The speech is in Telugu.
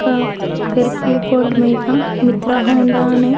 ఒక ఎరుపు బోర్డు మీద మిత్ర హోండా అని --